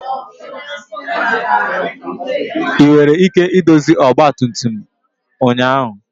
Ị nwere ike idozi ọgba tum tum ụnyaahụ?